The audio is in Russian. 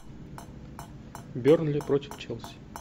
бернли против челси